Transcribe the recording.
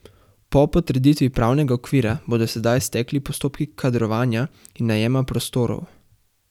Po potrditvi pravnega okvira bodo sedaj stekli postopki kadrovanja in najema prostorov.